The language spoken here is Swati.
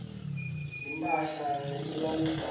netimphahla letibandzako